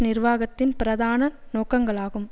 நிர்வாகத்தின் பிரதான நோக்கங்களாகும்